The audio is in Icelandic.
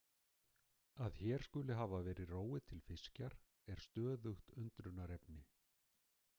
Að hér skuli hafa verið róið til fiskjar er stöðugt undrunarefni.